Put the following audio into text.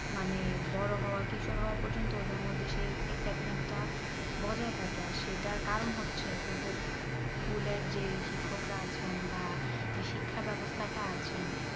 মানে বোরো হওয়া কিশোর হওয়া পর্যন্ত ওদের মধ্যে সেই excitement তা বজায় থাকে সেটার কারণ হচ্ছে ওদের school এর যেই শিক্ষকরা আছেন